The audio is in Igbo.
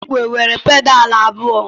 Igwe nwere pedalu abụọ.